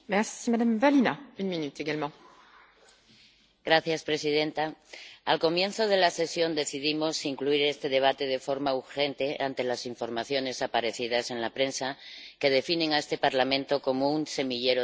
Señora presidenta, al comienzo de la sesión decidimos incluir este debate de forma urgente ante las informaciones aparecidas en la prensa, que definen a este Parlamento como un semillero de acoso sexual.